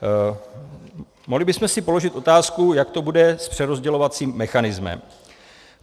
Mohli bychom si položit otázku, jak to bude s přerozdělovacím mechanismem.